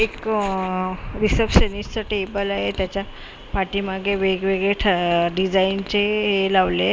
एक रिसेप्शनिस्ट चं टेबलंय आहे त्याच्या पाठीमागे वेगवेगळे ठ डिझाईन चे हे लावलेत.